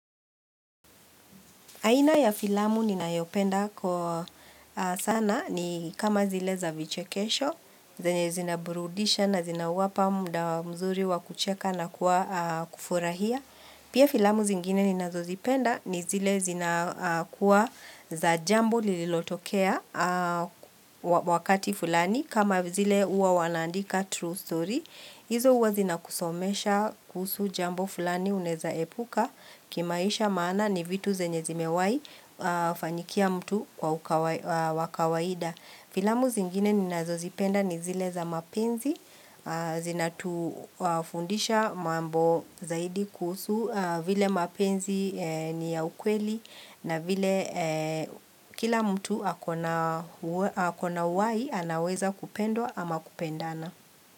Aina ya filamu ninayopenda kwa sana ni kama zile za vichekesho, zenye zinaburudisha na zinawapa muda mzuri wa kucheka na kuwa kufurahia. Pia filamu zingine ninazozipenda ni zile zina kuwa za jambo lililotokea wakati fulani kama zile huwa wanandika true story. Hizo huwa zinakusomesha kuhusu jambo fulani unaweza epuka kimaisha maana ni vitu zenye zimewahi fanyikia mtu kwa wa kawaida. Filamu zingine ninazo zipenda ni zile za mapenzi zina tufundisha mambo zaidi kuhusu vile mapenzi ni ya ukweli na vile kila mtu ako na uhai anaweza kupendwa ama kupendana.